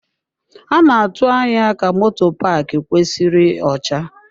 A na-atụ anya ka moto paaki kwesịrị ọcha.